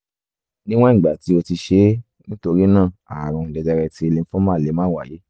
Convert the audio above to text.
níwọ̀n ìgbà tí o ti ṣe é nítorí náà aàrùn jẹjẹrẹ ti lymphoma lè má wáyé